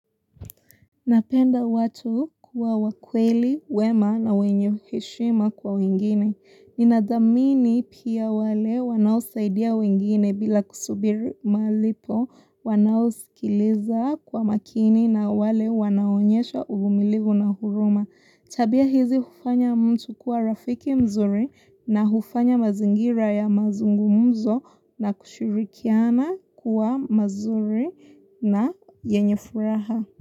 Napenda watu kuwa wa kweli, wema na wenye heshima kwa wengine. Ninathamini pia wale wanaosaidia wengine bila kusubiri malipo, wanao sikiliza kwa makini na wale wanao onyesha uvumilivu na huruma. Tabia hizi hufanya mtu kuwa rafiki mzuri na hufanya mazingira ya mazungumzo na kushirikiana kuwa mazuri na yenye furaha.